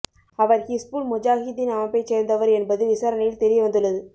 அவர் ஹிஸ்புல் முஜாஹிதீன் அமைப்பைச் சேர்ந்தவர் என்பது விசாரணையில் தெரிய வந்துள்ளது